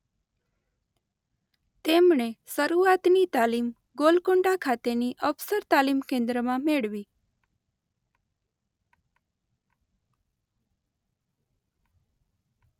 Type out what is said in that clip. તેમણે શરૂઆતની તાલીમ ગોલકોન્ડા ખાતેની અફસર તાલીમ કેન્દ્રમાં મેળવી.